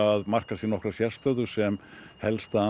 að marka sér nokkra sérstöðu sem helsta